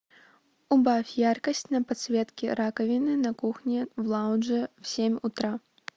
убавь яркость на подсветке раковины на кухне в лаунже в семь утра